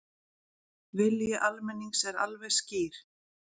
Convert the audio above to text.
Vilji almennings er alveg skýr